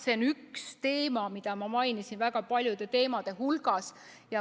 See on üks teema, mida ma mainisin väga paljude teemade hulgas.